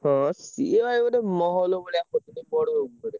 ହଁ ସିଏ ଭାଇ ଗୋଟେ mall ଭଳିଆ ଗୋଟେ ବଡ ।